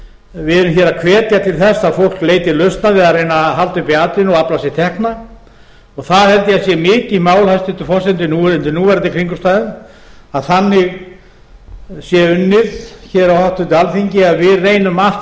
við erum hér að hvetja til þess að fólk leiti lausna við að reyna að halda uppi atvinnu og afla sér tekna það held ég að sé mikið mál hæstvirtur forseti undir núverandi kringumstæðum að þannig sé unnið á háttvirtu alþingi að við reynum allt